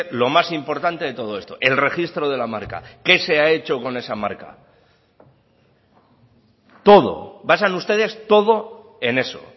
lo más importante de todo esto el registro de la marca qué se ha hecho con esa marca todo basan ustedes todo en eso